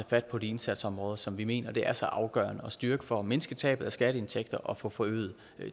fat på de indsatsområder som vi mener det er så afgørende at styrke for at mindske tabet af skatteindtægter og få forøget